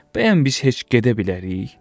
Bəyəm biz heç gedə bilərik?